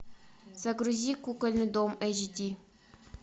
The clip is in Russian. загрузи кукольный дом айч ди